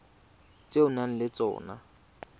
tse o nang le tsona